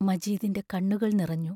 മജീദിന്റെ കണ്ണുകൾ നിറഞ്ഞു.